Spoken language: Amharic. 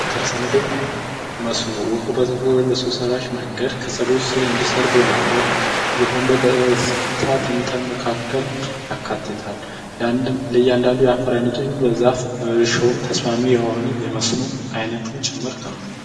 የከረሰ ምድር ውሃ በሰው ሰራሽ መንገዶች ከሰብሎች ስር እንዲሠርግ በማድረግ ከምናደርግበት መካከል ይካተታል። ለአንዳንዱ የዛፍ አይነቶች እርሻው ተስማሚ የሆነ የመስኖ አይነት ጭምርት ነው።